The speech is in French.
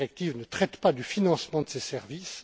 La directive ne traite pas du financement de ces services.